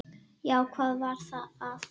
Já, hvað var að?